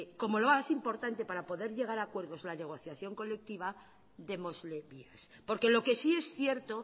como lo más importante para poder llegar a acuerdos la negociación colectiva démosle vías porque lo que sí es cierto